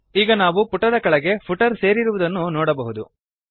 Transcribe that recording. ಈಗ ನಾವು ಪುಟದ ಕೆಳಗಡೆ ಫುಟರ್ ಸೇರಿರುವುದನ್ನು ನೋಡಬಹುದು